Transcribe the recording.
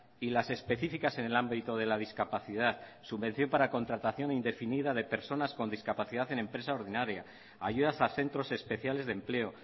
y las específicas en el ámbito de la discapacidad subvención para contratación indefinida de personas con discapacidad en empresa ordinaria ayudas a centros especiales de empleo